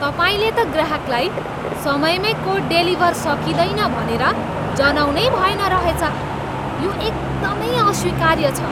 तपाईँले त ग्राहकलाई समयमै कोड डेलिभर सकिँदैन भनेर जनाउनै भएन रहेछ। यो एकदमै अस्वीकार्य छ।